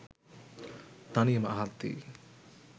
තනියම අහද්දී